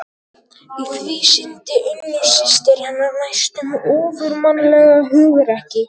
Í því sýndi Unnur systir hennar næstum ofurmannlegt hugrekki.